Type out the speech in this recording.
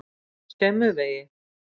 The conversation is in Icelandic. Skemmuvegi